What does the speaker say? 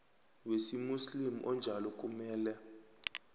wesimuslimu onjalo kumele